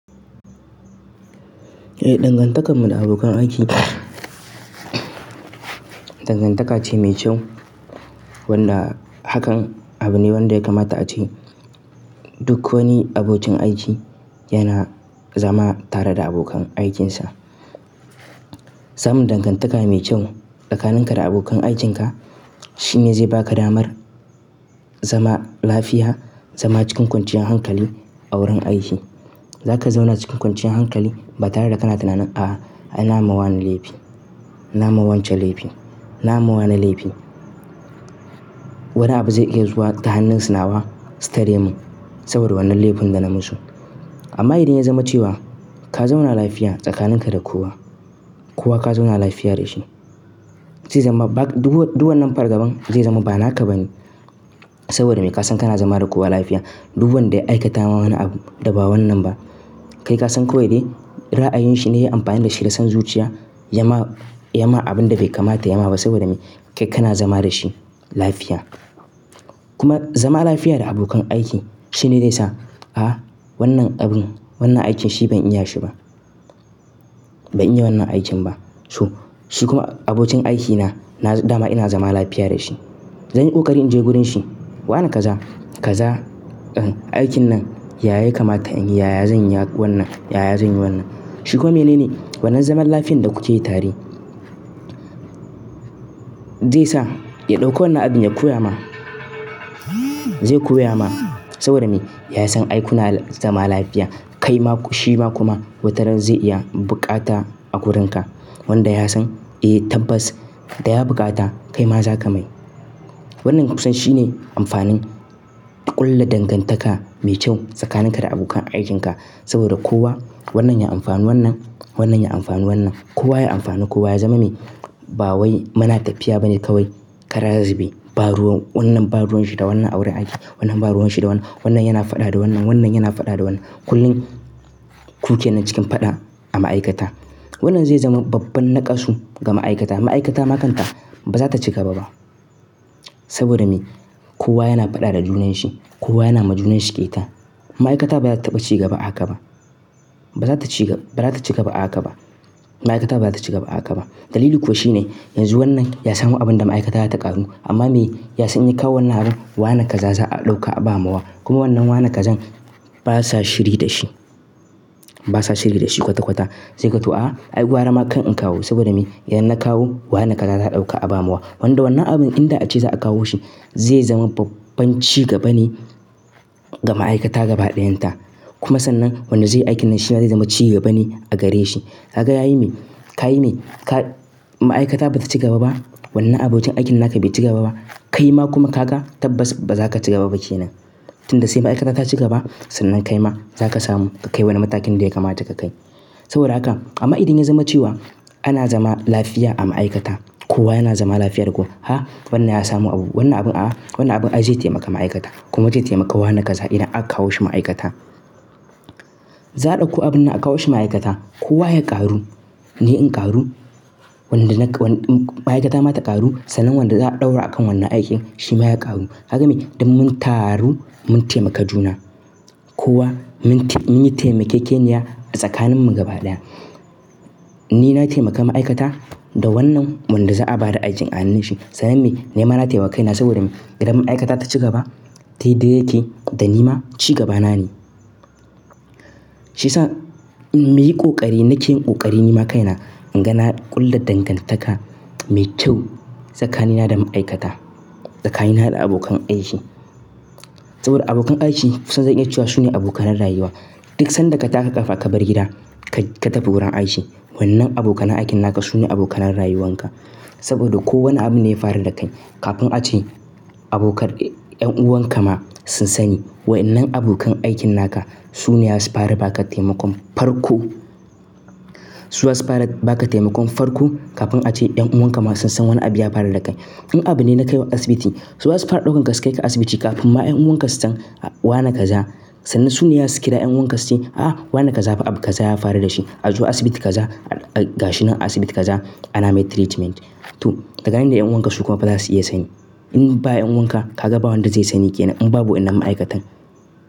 Eh, dangantakar mu da abokan aiki dangantaka ce mai kyau wanda hakan abu ne wanda ya kamata a ce duk wani abokin aiki yana zama tare da abokan aikinsa. Samun dangantaka mai kyau tsakanin ka da abokan aikin ka shi ne zai ba ka damar zama lafiya, zama cikin kwanciyar hankali a wurin aiki. Za ka zauna cikin kwanciyar hankali ba tare da ka na tunanin, "a'a, ina ma wani laifi, na ma wance laifi, na ma wane laifi." Wani abu zai iya zuwa ta hannun sinawa, su tare mun saboda wannan laifin da na musu. Amma idan ya zama cewa ka zauna lafiya tsakanin ka da kowa, kowa ka zauna lafiya da shi, zai zama ba duk-- duk wannan fargaban zai zama ba naka ba ne saboda me? Ka san kana zama da kowa lafiya. Duk wanda ya aikata ma wani abu da ba wannan ba, kai ka san kawai dai ra'ayin shi ne ya yi amfani da shi ya san zuciya, ya ma-- ya ma abin da bai kamata ya ma ba saboda me? Kai kana zama da shi lafiya. Kuma zama lafiya da abokan aiki shine zai sa, "a'a wannan abun, wannan aikin shi ban iya shi ba. Ban iya wannan aikin ba." So shi kuma abokin aikina na dama ina zama lafiya da shi. Zan yi ƙoƙari in je wurin shi, "wana kaza kaza, eh aikin nan yaya ya kamata in yi? Yaya zan yi wannan? Yaya zan yi wannan?" Shi kuma mene ne? Wannan zaman lafiyar da ku ci yi tare zai sa ya ɗauka wannan abin ya koya ma. Zai koya ma saboda me? Ya san ai kuna zama lafiya. Kai ma-- shi ma kuma watarar zai iya buƙata a wurin ka wanda ya san, "eh tabbas da ya buƙata kai ma za ka mai." Wannan kusan shi ne amfanin ƙulla dangantaka mai kyau tsakanin ka da abokan aikin ka saboda kowa wannan ya amfanu wannan, wannan ya amfanu wannan. Kowa ya amfanu kowa ya zama mai, ba wai muna tafiya bane kawai kara zube. Ba ruwan-- wannan ba ruwan shi da wannan a wurin aiki. Wannan ba ruwan shi da wannan. Wannan yana faɗa da wannan. Wannan yana faɗa da wannan. Kullum ku ke nan cikin faɗa a ma'aikata. Wannan zai zama babban naƙasu ga ma'aikata. Ma'aikata ma kanta ba za ta ci gaba ba saboda me? Kowa yana faɗa da junan shi. Kowa yana ma junan shi ƙyeta. Ma'aikata ba za ta taba ci gaba aka ba. Ba za ta ci gaba-- ba za ta ci gaba aka ba. Ma'aikata ba za ta ci gaba aka ba. Dalili kuwa shi ne yanzu wannan ya samu abin da ma'aikata za ta ƙaru. Amma me? Ya san inya kawo wannan abun, "wana kaza za a ɗauka a ba mawa?" Kuma wannan wane kazan basa shiri da shi. Basa shiri da shi kwata-kwata. Zai gan to, "a'a ai gwara ma kan in kawo saboda me? Idan na kawo wane kaza za a ɗauka a ba mawa." Wanda wannan abin idan a ce za a kawo shi zai zama babban ci gaba ne ga ma'aikata gaba ɗayan ta. Kuma sannan wanda zai yi aikin nan shi ma zai zama ci gaba ne a gare shi. Kaga ya yi mai, ka yi mai, ka-- ma'aikata ba ta ci gaba ba. Wannan abokin aikin naka bai ci gaba ba. Kai ma kuma ka ga tabbas ba za ka ci gaba ba ke nan. Tun da sai ma'aikata ta ci gaba sannan kai ma za ka samu ka kai wani matakin da ya kamata ka kai. Saboda haka amma idan ya zama cewa ana zama lafiya a ma'aikata, kowa yana zama lafiya da kowa. Ha wannan ya samu abu. Wannan abun a-- wannan abun zai taimaka ma'aikata kuma zai taimakawa wane kaza idan aka kawo shi ma'aikata. Za a ɗauko abun nan a kawo shi ma'aikata. Kowa ya ƙaru, ni in ƙaru, wanda na-- ma'aikata ma ta ƙaru sannan wanda za a ɗaura a kan wannan aikin shi ma ya ƙaru. Kaga me? Don mun taru mun taimaka juna. Kowa mun yi taimake-keniya a tsakanin mu gaba ɗaya. Ni na taimaka ma'aikata da wannan wanda za a ba da aikin a hannun shi. Sannan me? Ni ma na taimaka kaina saboda me? Idan ma'aikata ta ci gaba, tayi dai dai tayi, da ni ma ci gaba na ne. Shi ya sa in muyi ƙoƙari nake yin ƙoƙari ni ma kaina in ga na ƙulla dangantaka mai kyau tsakanina da ma'aikata, tsakanina da abokan aiki. Saboda abokan aiki kusan zan iya cewa su ne abokanan rayuwa. Duk sanda ka tashi ka kafa ka bar gida ka tafi wurin aiki, wannan abokan aikin naka su ne abokan rayuwan ka. Saboda ko wane abu ne ya faru da kai kafin a ce abokan-- ƴan'uwan ka ma sun sani waƴannan abokan aikin naka su ne za su fara ba ka taimakon farko. Su za su fara ba ka taimakon farko kafin a ce ƴan'uwan ka ma sun san wani abu ya faru da kai. In abu ne na kai wa asibiti, su za su fara ɗaukan ka kai ka asibiti kafin ma ƴan'uwan ka su san, "wana kaza sannan su ne za su kira ƴan'uwan ka su ce, 'a'a wannan kaza abu kaza ya faru da shi. A zo asibiti kaza, gashi nan a asibiti kaza ana mai treatment.'" to tsakanin da ƴan'uwan ka su kuma fa za su iya sani. In baya ƴan'uwan ka ka ga ba wanda zai sani ke nan in babu wannan ma'aikatan.